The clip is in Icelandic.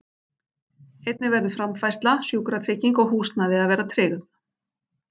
Einnig verður framfærsla, sjúkratrygging og húsnæði að vera tryggð.